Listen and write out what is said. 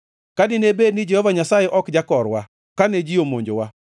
ka dine bed ni Jehova Nyasaye ok jakorwa kane ji omonjowa,